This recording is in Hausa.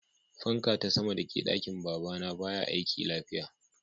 Fanka ta sama da ke dakin baba na baya aiki lafiya.